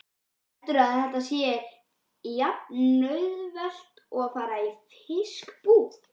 Heldurðu að þetta sé jafnauðvelt og að fara í fiskbúð?